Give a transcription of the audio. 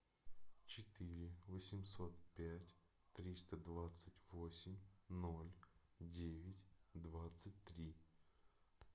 четыре восемьсот пять триста двадцать восемь ноль девять двадцать три